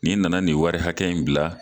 Nin nana nin wari hakɛ in bila